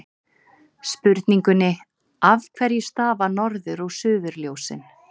Spurningunni Af hverju stafa norður- og suðurljósin?